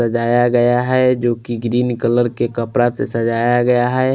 सजाया गया है जो कि ग्रीन कलर के कपड़ा से सजाया गया है।